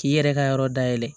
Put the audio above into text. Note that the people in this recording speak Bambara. K'i yɛrɛ ka yɔrɔ dayɛlɛ